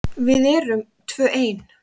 Við erum tvö ein.